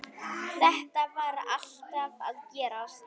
Þetta var alltaf að gerast.